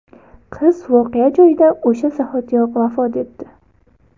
Qiz voqea joyida o‘sha zahotiyoq vafot etdi.